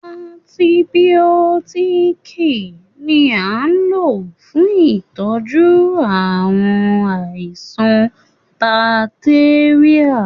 Antìbiótiiki ni a n lò fún ìtọ́jú àwọn àìsàn bacteria.